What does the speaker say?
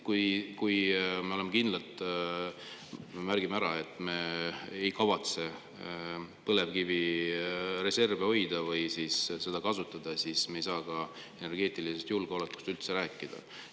Kui me kindlalt märgime ära, et me ei kavatse põlevkivireserve hoida või kasutada, siis me ei saa energeetilisest julgeolekust üldse rääkida.